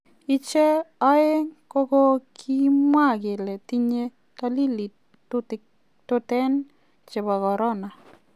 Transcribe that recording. Icheg ooeng kogokimwa keli tinye dolili toten chebo korona.